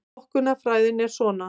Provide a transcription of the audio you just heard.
Flokkunarfræðin er svona: